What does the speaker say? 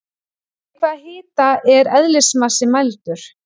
Við hvaða hita er eðlismassi mældur?